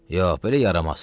Yox, belə yaramaz.